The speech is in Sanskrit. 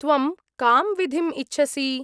त्वं कां विधिम् इच्छसि?